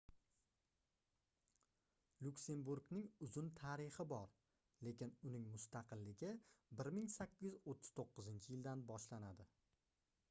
lyuksemburgning uzun tarixi bor lekin uning mustaqilligi 1839-yildan boshlanadi